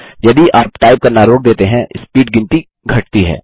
यदि आप टाइप करना रोक देते हैं स्पीड गिनती घटती है